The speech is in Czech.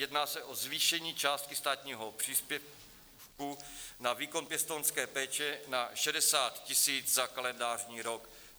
Jedná se o zvýšení částky státního příspěvku na výkon pěstounské péče na 60 000 za kalendářní rok.